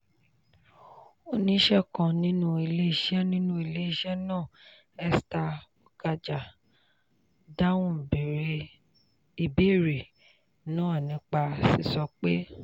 "oníṣẹ́ kan nínú iléeṣẹ́ nínú iléeṣẹ́ náà esther okaja dáhùn ìbéèrè náà nípa sísọ pé: